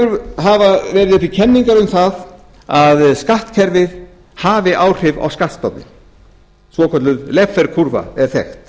nú hafa verið uppi kenningar um það að skattkerfið hafi áhrif á skattstofninn svokölluð laffer kúrfa er þekkt